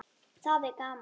Það er gaman.